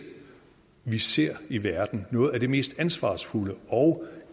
vi ser i verden det noget af det mest ansvarsfulde og